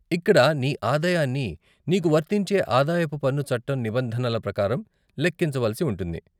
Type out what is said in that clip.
ఇక్కడ నీ ఆదాయాన్ని నీకు వర్తించే ఆదాయపు పన్ను చట్టం నిబంధనల ప్రకారం లెక్కించ వలసి ఉంటుంది.